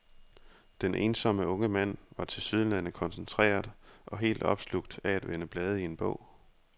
Den ensomme unge mand var tilsyneladende koncentreret og helt opslugt af at vende blade i en bog.